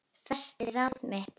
Festi ráð mitt